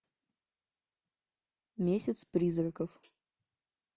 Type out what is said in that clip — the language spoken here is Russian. месяц призраков